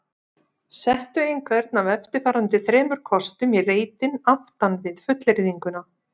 Settu einhvern af eftirfarandi þremur kostum í reitinn aftan við fullyrðinguna